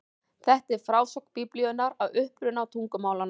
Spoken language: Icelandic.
Þetta er frásögn Biblíunnar af uppruna tungumálanna.